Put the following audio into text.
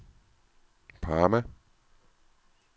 Parma